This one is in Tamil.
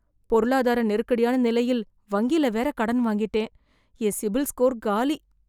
பொருளாதார நெருக்கடியான நிலையில் வங்கில வேற கடன் வாங்கிட்டேன். என் சிபில் ஸ்கோர் காலி